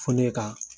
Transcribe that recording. Fo ne ka